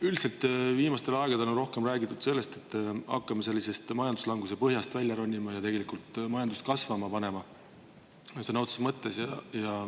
Üldiselt on viimasel ajal üha rohkem räägitud sellest, et me hakkame majanduslanguse põhjast välja ronima ja majandust sõna otseses mõttes kasvama panema.